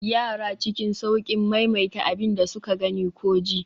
yara cikin sauƙin maimaita abin da suka gani ko ji